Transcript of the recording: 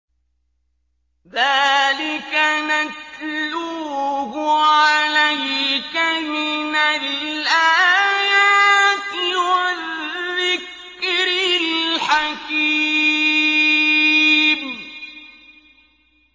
ذَٰلِكَ نَتْلُوهُ عَلَيْكَ مِنَ الْآيَاتِ وَالذِّكْرِ الْحَكِيمِ